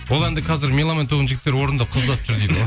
ол әнді қазір меломан тобының жігіттері орындап қыз ұзатып жүр